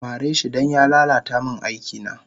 Mareshi dan ya lala ta min aikina